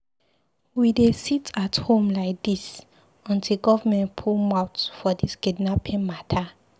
We dey sit-at-home lai dis, until government put mouth for dis kidnapping mata.